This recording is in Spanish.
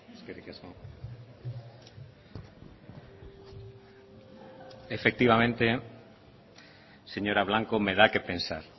eskerrik asko efectivamente señora blanco me da que pensar